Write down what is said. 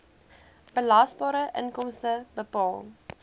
belasbare inkomste bepaal